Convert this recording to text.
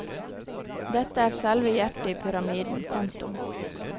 Dette er selve hjertet i pyramiden. punktum